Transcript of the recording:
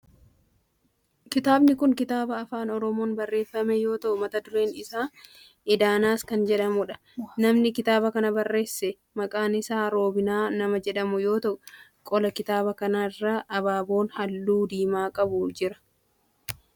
Kitaabni kun kitaaba afaan oromoon barreeffame yoo ta'u mata dureen isaa Edanas kan jedhudha. Namni kitaaba kana barreesse maqaan isaa Roobinaa nama jedhamu yoo ta'u qola kitaaba kanaa irra abaaboon halluu diimaa qabu jira.